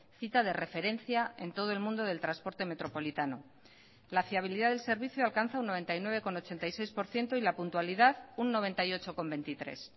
cita de referencia en todo el mundo del transporte metropolitano la fiabilidad del servicio alcanza un noventa y nueve coma ochenta y seis por ciento y la puntualidad un noventa y ocho coma veintitrés